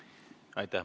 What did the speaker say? Aitäh!